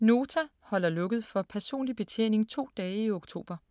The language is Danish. Nota holder lukket for personlig betjening to dage i oktober.